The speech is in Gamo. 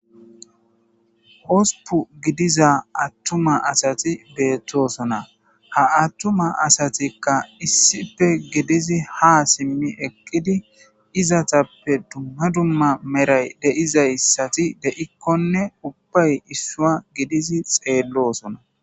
Hosupu gidiza attuma asati beettosona ha attuma asatikka issife gidizi ha simmi eqqidi izatappe dumma dumma meray deizayssati de'ikkonne ubbay issua gidizi xeelloosona.